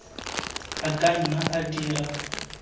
a ka nna a dira